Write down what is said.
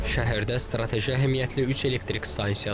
Şəhərdə strateji əhəmiyyətli üç elektrik stansiyası var.